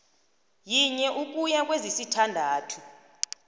yinye ukuya kwezisithandathu